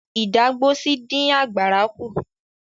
Ìdágbósí dín àgbàrá kú.